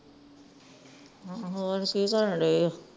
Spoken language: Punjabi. ਹੂ ਹੋਰ ਕੀ ਕਰਨ ਡਏ ਉਹ